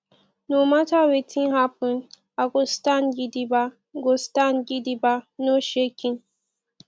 no mata wetin happen i go stand gidigba go stand gidigba no shaking